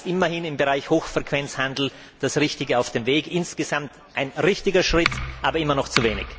Immerhin ist im Bereich Hochfrequenzhandel das Richtige auf dem Weg, insgesamt ein richtiger Schritt, aber immer noch zu wenig.